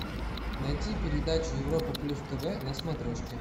найти передачу европа плюс тв на смотрешке